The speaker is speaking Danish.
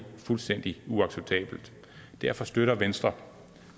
fuldstændig uacceptabelt derfor støtter venstre